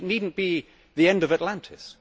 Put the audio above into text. It need not be the end of Atlantis.